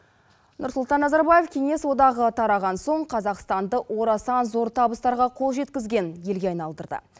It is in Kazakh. нұрсұлтан назарбаев кеңес одағы тараған соң қазақстанды орасан зор табыстарға қол жеткізген елге айналдырды